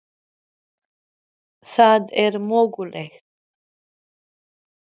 Eru slök leikmannakaup ástæðan fyrir vandamálum liðsins?